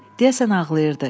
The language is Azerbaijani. Deyəsən ağlayırdı.